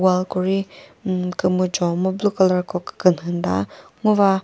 wall ko ri ummm kümüjo mu blue colour ko künhü müta ngo va.